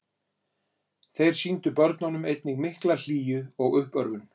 þeir sýndu börnunum einnig mikla hlýju og uppörvun